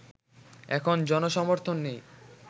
এখন জনসমর্থন নেই